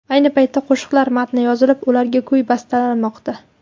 Ayni paytda qo‘shiqlar matni yozilib, ularga kuy bastalanmoqda.